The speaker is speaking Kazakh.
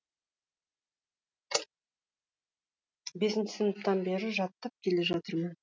бесінші сыныптан бері жаттап келе жатырмын